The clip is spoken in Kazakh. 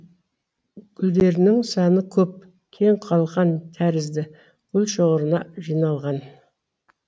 гүлдерінің саны көп кең қалқан тәрізді гүлшоғырына жиналған